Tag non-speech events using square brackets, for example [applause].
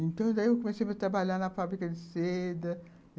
Então, daí eu [unintelligible] comecei a trabalhar na fábrica de seda...